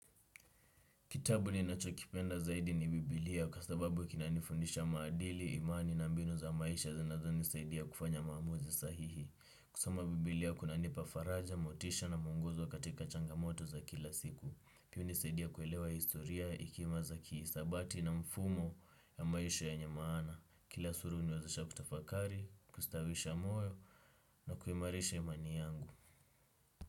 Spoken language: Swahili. Kitabu ninachokipenda zaidi ni Bibilia kwa sababu kinanifundisha maadili, imani na mbinu za maisha zanazonisaidia kufanya maamuzi sahihi. Kusoma Bibilia kunanipa faraja, motisha na muongozo katika changamoto za kila siku. Kwa sababu kinanifundisha maadili, imani na mbinu za maisha zanazo nisaidia kufanya maamuzi sahihi. Kwa sababu niwazesha kutafakari, kustawisha moyo na kuimarisha imani yangu.